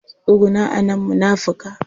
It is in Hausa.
Tsuguna a nan munafika!